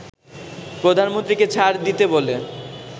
প্রধানমন্ত্রীকে ছাড় দিতে বলে